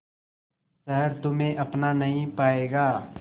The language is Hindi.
शहर तुम्हे अपना नहीं पाएगा